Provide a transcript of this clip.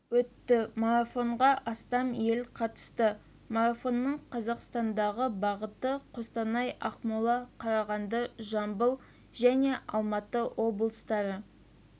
өтті марафонға астам ел қатысты марафонның қазақстандағы бағыты қостанай ақмола қарағанды жамбыл және алматы облыстары